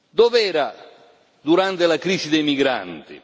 Dov'era durante la crisi dei migranti?